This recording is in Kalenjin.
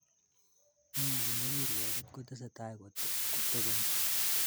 Neo nebo kirwoket kotesetai kotobeni,